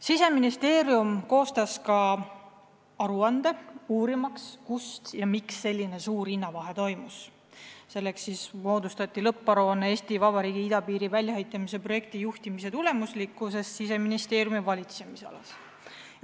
Siseministeerium koostas ka aruande, uurimaks, kust ja miks selline suur hinnavahe tekkis, "Eesti Vabariigi idapiiri väljaehitamise projekti juhtimise tulemuslikkus Siseministeeriumi valitsemisalas".